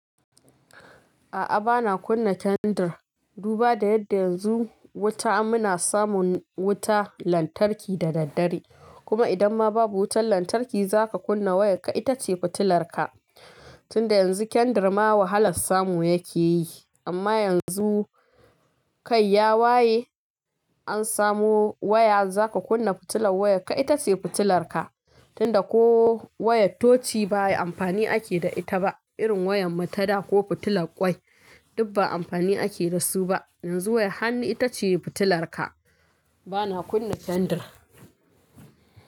A'a, bana kunna kendir. Duba da yadda yanzu wuta muna samun wuta lantarki da daddare. Kuma idan ma babu wutar lantarki zaka kunna wayar ka itace fitilar ka. Tunda yanzu kendir ma wahalar samu yake yi. Amma yanzu kai ya waye an samo waya zaka kunna fitilar wayarka ita ce fitilar ka tunda ko wayar toci ba amfani ake da ita ba irin wayar matada ko fitilar ƙwai duk ba amfani ake da su ba. Yanzu wayar hannu ita ce fitilar ka. Bana kunna kendir.